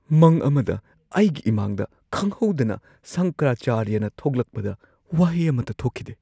ꯃꯪ ꯑꯃꯗ ꯑꯩꯒꯤ ꯏꯃꯥꯡꯗ ꯈꯪꯍꯧꯗꯅ ꯁꯪꯀꯔꯥꯆꯥꯔꯌꯥꯅ ꯊꯣꯛꯂꯛꯄꯗ ꯋꯥꯍꯩ ꯑꯃꯠꯇ ꯊꯣꯛꯈꯤꯗꯦ ꯫